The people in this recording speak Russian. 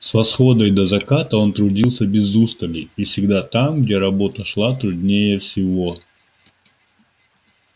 с восхода и до заката он трудился без устали и всегда там где работа шла труднее всего